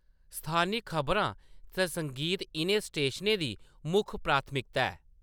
स्थानी खबरां ते संगीत इʼनें स्टेशनें दी मुक्ख प्राथमिकता ऐ।